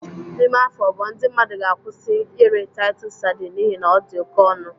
N'ime afọ abụọ ndị mmadụ ga-akwụsị iri Titus sardine n'ihi na ọ dị oke ọnụ